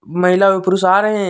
महिला एवं पुरुष आ रहे हैं।